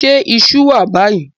Ṣé iṣú wà báyìí?